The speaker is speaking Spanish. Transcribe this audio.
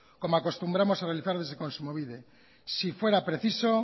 como acostumbramos a realizar desde kontsumobide si fuera preciso